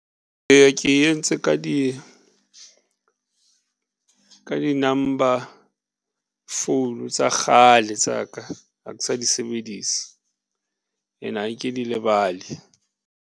Eya, ke entse ka di ka di-number phone tsa kgale tsa ka, ha ke sa di sebedise and-e ha ke di lebale.